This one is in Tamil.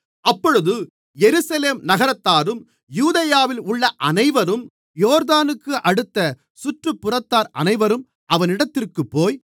அப்பொழுது எருசலேம் நகரத்தாரும் யூதேயாவில் உள்ள அனைவரும் யோர்தானுக்கு அடுத்த சுற்றுப்புறத்தார் அனைவரும் அவனிடத்திற்குப்போய்